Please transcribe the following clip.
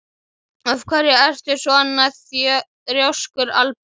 Af hverju ertu svona þrjóskur, Albína?